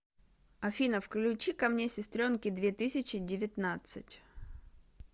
афина включи ка мне сестренки две тысячи девятнадцать